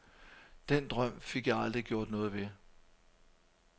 Den drøm fik jeg aldrig gjort noget ved.